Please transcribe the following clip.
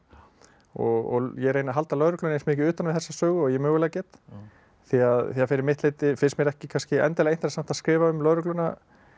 og ég reyni að halda lögreglunni eins mikið utan við þessa sögu og ég mögulega get því að fyrir mitt leyti finnst mér ekki endilega interessant að skrifa um lögregluna